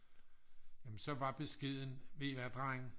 så var beskeden vd i hvad drenge